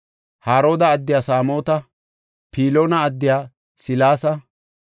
Harooda addiya Samoota, Piloona addiya Selesa,